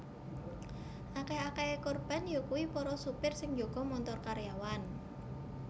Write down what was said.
Akèh akèhé korban yakuwi para supir sing njaga montor karyawan